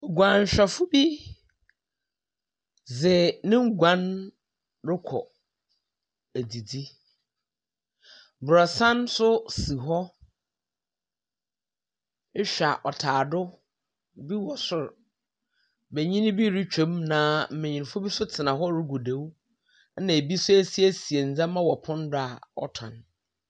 Oguan hwɛ fo bi de ne nguan rekɔ adidi. Abansoro nso si hɔ, ɛhwɛ a ɔtaa do, bi wo soro, benyini bi retwa mu na nbenyi foɔ nso retena hɔ regu do na ebi nso asiesie sie neɛma wɔ pono do a ɔton.